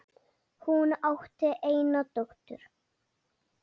Hún átti eina dóttur.